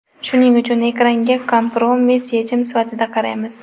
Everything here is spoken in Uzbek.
Shuning uchun ekranga kompromiss yechim sifatida qaraymiz.